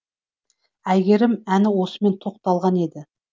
әйгерім әні осымен тоқталған еді